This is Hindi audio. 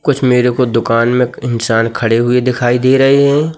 कुछ मेरे को दुकान में एक इंसान खड़े हुए दिखाई दे रहें हैं।